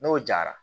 N'o jara